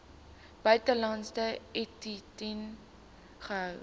buitelandse entiteit gehou